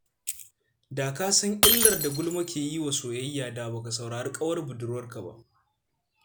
Da ka san illar da gulma ke yi wa soyayya, da ba ka saurari ƙawar budurwarka ba.